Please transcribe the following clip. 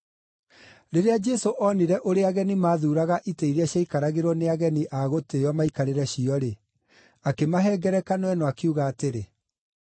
Rĩrĩa Jesũ oonire ũrĩa ageni maathuuraga itĩ iria ciaikaragĩrwo nĩ ageni a gũtĩĩo maikarĩre cio-rĩ, akĩmahe ngerekano ĩno, akiuga atĩrĩ: